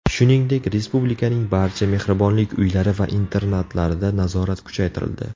Shuningdek, respublikaning barcha Mehribonlik uylari va internatlarida nazorat kuchaytirildi.